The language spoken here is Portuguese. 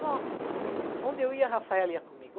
Nossa, onde eu ia, a Rafaela ia comigo.